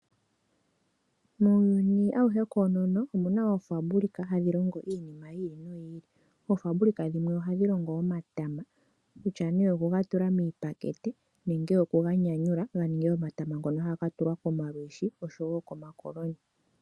Muuyuni awuhe koonono omu na oofaabulika hadhi longo iinima yi ili noyi ili. Oofaabulika dhimwe ohadhi longo omatama kutya nee okuga tula miipakete nenge okuga nyanyula ga ninge omatama ngono haga tulwa komalwiishi oshowo komakoloni.